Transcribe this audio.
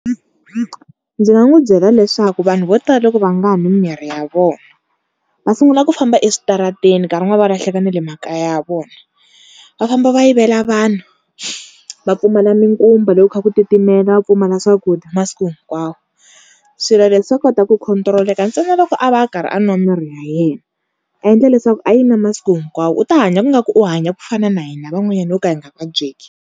Ndzi nga n'wi byela leswaku vanhu vo tala loko va nga nwi mimirhi ya vona va sungula ku famba eswitarateni, nkarhi wun'wana va lahleka na le makaya ya vona. Va famba va yivela vanhu, va pfumala mikumba loko kha ku titimela, va pfumala swakudya masiku hinkwawo. Swilo leswi swa kota ku control-eka ntsena loko a va a karhi a nwa mimirhi ya yena a endla leswaku a yi nwa masiku hinkwawo u ta hanya ingaku u hanya ku fana na hina van'wanyani ho ka hi nga vabyeki.